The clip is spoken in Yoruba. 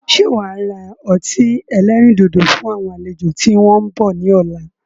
Ṣé wá ra ọtí ẹlẹ́rìndòdò fún àwọn àlejò tí wọn ń bọ̀ ni ọ̀la?